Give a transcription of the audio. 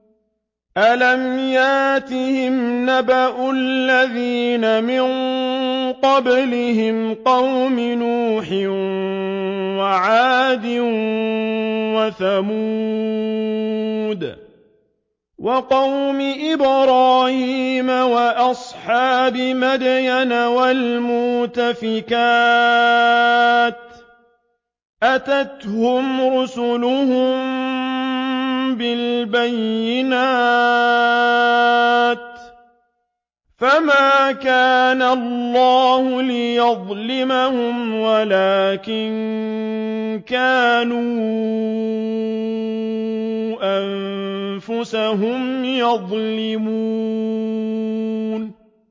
أَلَمْ يَأْتِهِمْ نَبَأُ الَّذِينَ مِن قَبْلِهِمْ قَوْمِ نُوحٍ وَعَادٍ وَثَمُودَ وَقَوْمِ إِبْرَاهِيمَ وَأَصْحَابِ مَدْيَنَ وَالْمُؤْتَفِكَاتِ ۚ أَتَتْهُمْ رُسُلُهُم بِالْبَيِّنَاتِ ۖ فَمَا كَانَ اللَّهُ لِيَظْلِمَهُمْ وَلَٰكِن كَانُوا أَنفُسَهُمْ يَظْلِمُونَ